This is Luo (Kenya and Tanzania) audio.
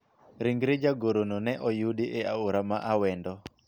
ringre jagoro no ne oyudi e aora ma Awendo